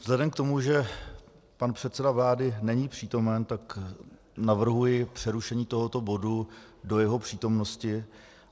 Vzhledem k tomu, že pan předseda vlády není přítomen, tak navrhuji přerušení tohoto bodu do jeho přítomnosti.